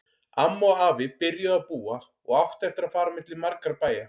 Amma og afi byrjuðu að búa og áttu eftir að fara á milli margra bæja.